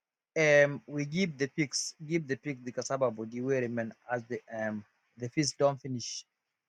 um we give the pigs give the pig the cassava body way remain as the um the feast don finish